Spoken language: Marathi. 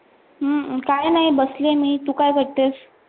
अं काही नाही बसली मी, तू काय करतेस?